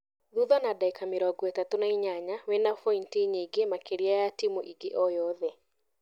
Thutha na ndagika mĩrongo-ĩtatũ na inyanya wĩna bointi nyingĩ makĩria ya timu ingĩ o yothe.